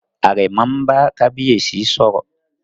Àrẹ̀mọ n bá kábíyèsí sọ̀rọ̀